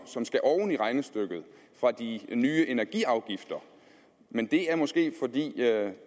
som skal oven i regnestykket fra de nye energiafgifter men det er måske fordi